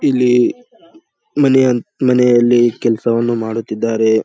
ಇಲ್ಲಿ ಮನೆಯಂತ ಮನೆಯಲ್ಲಿ ಕೆಲಸವನ್ನು ಮಾಡುತ್ತಿದ್ದಾರೆ.